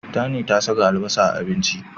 Tani ta saka albasa a abinci.